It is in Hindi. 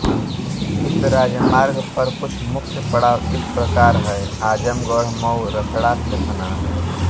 इस राजमार्ग पर कुछ मुख्य पड़ाव इस प्रकार हैं आज़मगढ़ मऊ रसड़ा फेफना